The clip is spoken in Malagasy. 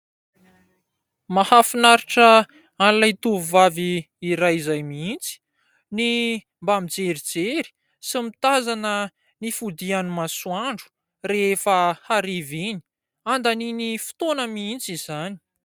Mahafinaritra an'ilay tovovavy iray izay mihintsy. Ny mba mijerijery sy mitazana ny fodihan'ny masoandro, rehefa ariva iny. Andaniny fotoana mihintsy izany.